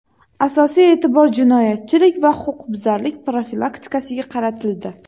Asosiy e’tibor jinoyatchilik va huquqbuzarliklar profilaktikasiga qaratildi.